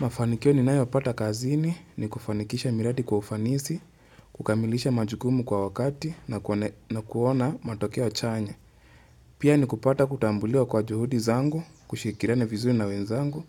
Mafanikio ni nayo pata kazini ni kufanikisha miradi kwa ufanisi, kukamilisha majukumu kwa wakati na kuona matokeo chanya. Pia ni kupata kutambuliwa kwa juhudi zangu, kushikiliana vizuri na wenzangu